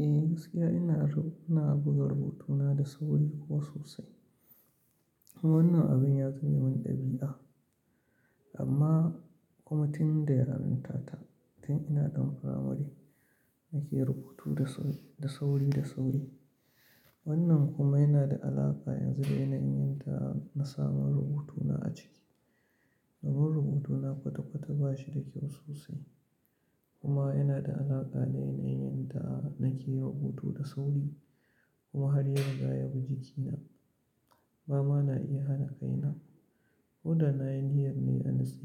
Eh gaskiya ina na buga rubutuna da sauri kuwa sosai. Wannan abin ya zama min ɗabi'a amma kuma tun da yaranta ta tun ina ɗan firamare nake rubutu da sau da sauri. Wannan kuma yana da alaƙa yanzu da yanayin da na samu rubutuna a ciki. Sabon rubutuna kwata kwata ba shi da kyau sosai kuma yana da alaƙa da yanayin da nake rubutu da sauri kuma hari ya riga ya bi jikina. Ba ma na iya hana kaina ko da na yi niyyar ne a nutse